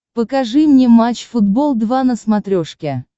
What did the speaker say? покажи мне матч футбол два на смотрешке